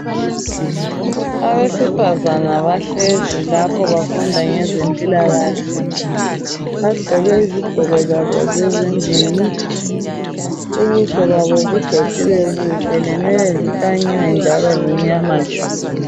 Abesifazana bahlezi lapho bafunda ngezempilakahle bagqoke izigqoko zabo zezindlini ubuso babo bugcotshiwe buhle lenwele zikanyiwe njalo zimnyama tshu.